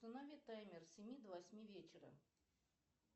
установи таймер с семи до восьми вечера